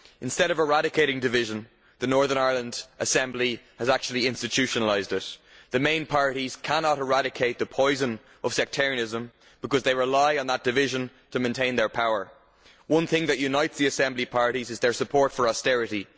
Instead of eradicating division, the Northern Ireland Assembly has actually institutionalised it. The main parties cannot eradicate the poison of sectarianism because they rely on that division to maintain their power. One thing that unites the Assembly parties is their support for austerity.